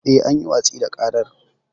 Yes, an yi watsi da ƙarar.